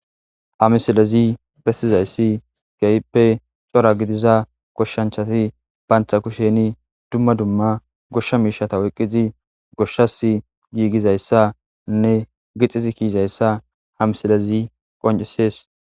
Hamisilezi bessizayssi geyippe cora gidiza koshshanchati baantha kusheni dumma dumma goshsha miishata woqqizi goshshas giigizayssa nne gixizi kiizayssa hamisilezi qoncisees.